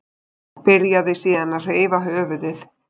Byrjaði síðan að hreyfa höfuðið.